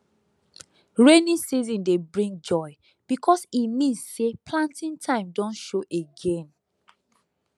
rainy season dey bring joy because e mean say planting time don show again